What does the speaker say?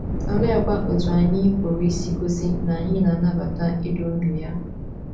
Oleekwa otú anyị pụrụ isi gosi na anyị na - anabata idu ndú ya?